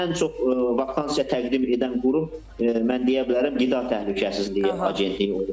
Məsəl üçün ən çox vakansiya təqdim edən qurum mən deyə bilərəm Qida Təhlükəsizliyi Agentliyi olubdur.